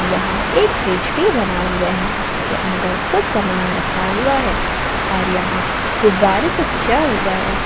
यह एक फ्रिज भी बना हुआ है जिसके अंदर कुछ सामान रखा हुआ है और यहां गुब्बारे से सजा हुआ है।